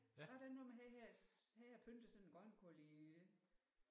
Var der ikke noget med han havde han havde pyntet sådan en grønkål i